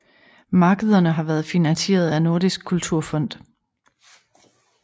Markederne har været finansieret af Nordisk Kulturfond